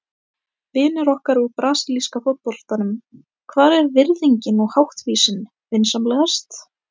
Vinir okkar úr brasilíska fótboltanum, hvar er virðingin og háttvísin, vinsamlegast?